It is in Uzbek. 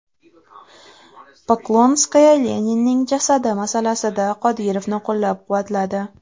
Poklonskaya Leninning jasadi masalasida Qodirovni qo‘llab-quvvatladi.